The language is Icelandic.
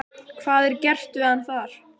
Hvað er gert við hann þar?